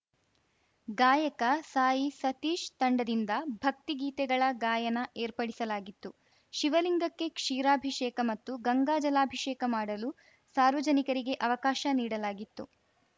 ಗಾಯಕ ಸಾಯಿ ಸತೀಶ್‌ ತಂಡದಿಂದ ಭಕ್ತಿ ಗೀತೆಗಳ ಗಾಯನ ಏರ್ಪಡಿಸಲಾಗಿತ್ತು ಶಿವಲಿಂಗಕ್ಕೆ ಕ್ಷೀರಾಭಿಷೇಕ ಮತ್ತು ಗಂಗಾ ಜಲಾಭಿಷೇಕ ಮಾಡಲು ಸಾರ್ವಜನಿಕರಿಗೆ ಅವಕಾಶ ನೀಡಲಾಗಿತ್ತು